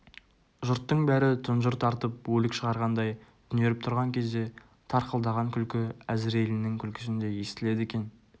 жұрттың бәрі тұнжыр тартып өлік шығарғандай түнеріп тұрған кезде тарқылдаған күлкі әзірейлінің күлкісіндей естіледі екен